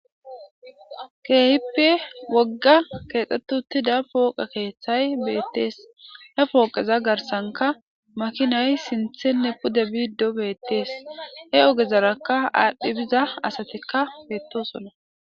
Keehippe woggay keexetti uttida pooqe keeththay beettees he pooqeza garssankka makinay sinththenne pude biido beettees he ogezarakka aadhi biza asatikka beetosona.